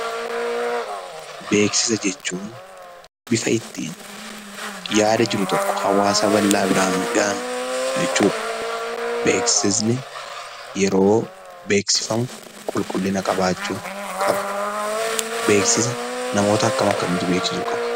Beeksisa jechuun bifa ittiin yaada jiru tokko hawaasa bal'aa biraan gahan jechuudha. Beeksisni yeroo beeksifamu qulqullina qabaachuu qaba. Beeksisa namoota akkam akkamiitu beeksisuu qaba?